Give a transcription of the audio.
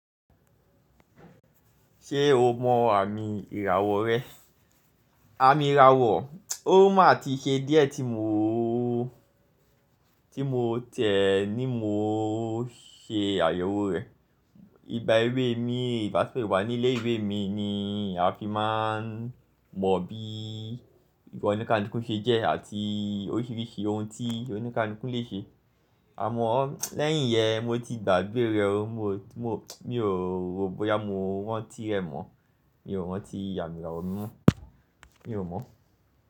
Ṣé o mọ àmì ìràwọ̀ rẹ? Àmì ìràwọ̀, ó máa ti ṣe díẹ̀ tí mo, tí mo tẹ̀ ẹ ní mo ṣe àyẹ̀wò rẹ̀. Igba ìwé mi, ìgbà tí mo wà ní ilé ìwé mi ni a fi máa ń mọ bi iwa onikalukú ṣe jẹ́ àti oríṣiríṣi ohun tí onikalukú lè ṣe. Àmọ́ lẹ́yìn yẹn mo ti gbàgbé rẹ̀, mo, mo, mi ò rò bóyá mo rántí rẹ̀ mọ́. Mi ò rántí àmì ìràwọ̀ mi mọ́. Mi ò mọ̀